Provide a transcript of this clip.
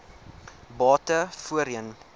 bate voorheen